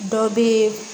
Dɔ bɛ